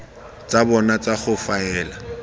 tsa bona tsa go faela